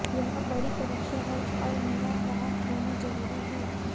यह बड़ी परीक्षा है और मेरा वहां होना जरूरी है